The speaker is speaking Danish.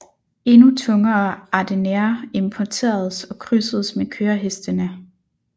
Endnu tungere Ardennere importeredes og krydsedes med kørehestene